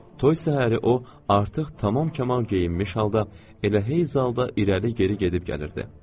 Toy səhəri o, artıq tamam kamal geyinmiş halda elə hey zalda irəli-geri gedib gəlirdi.